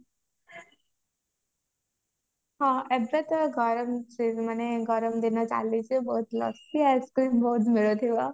ହଁ ଏବେ ତ ଗରମ ସି ମାନେ ଗରମ ଦିନ ଚାଲିଛି ବହୁତ ଲସି ice-cream ବହୁତ ମିଳୁଥିବ